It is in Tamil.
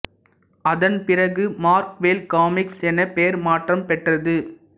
அதன் பிறகு மார்வெல் காமிக்ஸ் என பெயர் மாற்றம் பெற்றது